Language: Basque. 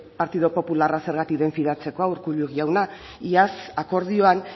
partidu popularra zergatik den fidatzekoa urkullu jauna iaz akordioan